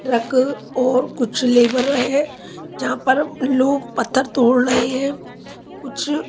truck और कुछ labour हैं जहाँपर लोग पत्थर तोड़ रहे हैं कुछ--